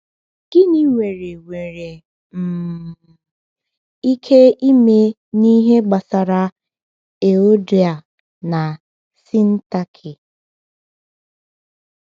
Gịnị nwere nwere um ike ime n’ihe gbasara Euodia na Syntyche?